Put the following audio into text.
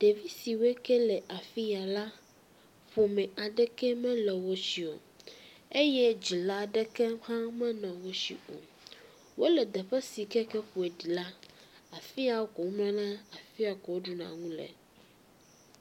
Ɖevi siwe ke wole afi ya la, ƒome aɖeke mele wosi o eye dzila ɖeke mele wo si o, wole teƒe si ke ƒoɖi la, afi ya ko womlɔna, afi ya ko woɖuna nu le.